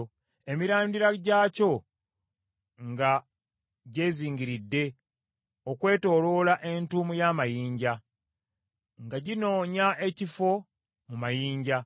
emirandira gyakyo nga gyezingiridde, okwetooloola entuumu y’amayinja, nga ginoonya ekifo mu mayinja.